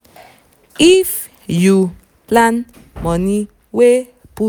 if um you um plan um money um wen um